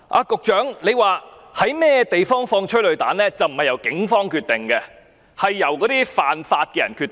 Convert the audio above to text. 局長說在哪處施放催淚彈並非由警方決定，而是犯法的人決定。